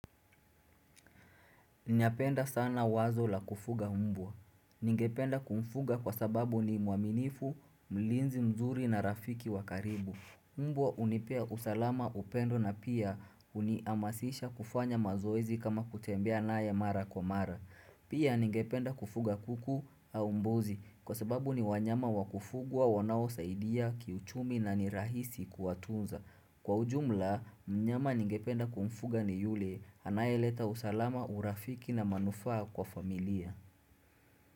Ninapenda sana wazo la kufuga mbwa. Ningependa kumfuga kwa sababu ni mwaminifu, mlinzi mzuri na rafiki wa karibu. Mbwa hunipea usalama upendo na pia unihamasisha kufanya mazoezi kama kutembea naye mara kwa mara. Pia ningependa kufuga kuku au mbuzi kwa sababu ni wanyama wakufugwa wanaosaidia kiuchumi na ni rahisi kuwatunza. Kwa ujumla, mnyama ningependa kumfuga ni yule, anayeleta usalama, urafiki na manufaa kwa familia.